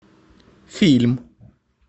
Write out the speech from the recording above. фильм